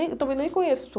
E eu também nem conheço